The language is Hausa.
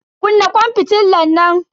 Kunna kwan fitilan nan.